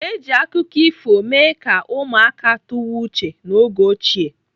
Eji akụkọ ifo mee ka ụmụaka tụwa uche n'oge ochie.